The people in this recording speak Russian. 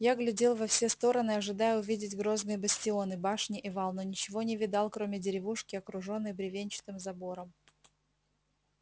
я глядел во все стороны ожидая увидеть грозные бастионы башни и вал но ничего не видал кроме деревушки окружённой бревенчатым забором